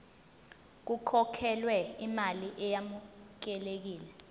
kukhokhelwe imali eyamukelekile